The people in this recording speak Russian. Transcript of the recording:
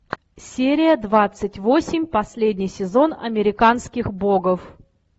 серия двадцать восемь последний сезон американских богов